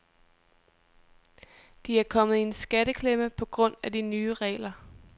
De er kommet i en skatteklemme på grund af de nye regler.